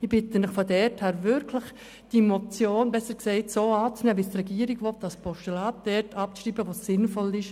Ich bitte Sie daher wirklich, diese Motion – oder besser im Sinne der Regierung als Postulat – dort abzuschreiben, wo es sinnvoll ist.